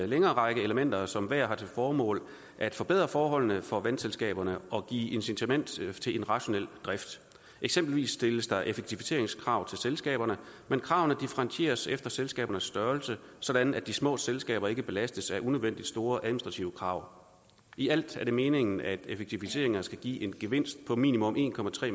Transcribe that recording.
længere række elementer som hvert har til formål at forbedre forholdene for vandselskaberne og give incitament til en rationel drift eksempelvis stilles der effektiviseringskrav til selskaberne men kravene differentieres efter selskabernes størrelse sådan at de små selskaber ikke belastes af unødvendig store administrative krav i alt er det meningen at effektiviseringer skal give en gevinst på minimum en